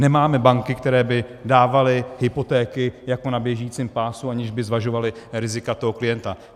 Nemáme banky, které by dávaly hypotéky jako na běžícím pásu, aniž by zvažovaly rizika toho klienta.